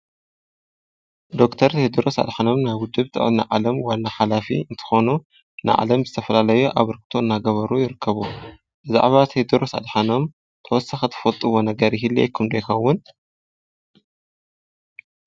ዶክተር ቴድሮስ ኣድሓኖም ናብ ውድብ ጥዕና ዓለም ዋና ሓላፊ እንተኾኑ ንዓለም ዝተፈላለዮ ኣሰርክቶ እናገበሩ ይርከቡ፡፡ ብዛዕባ ቴድሮስ ኣድሓኖም ተወሰኸቲ ትፈልጥዎ ነገር ይህልየኩም ዶ ይኸውን?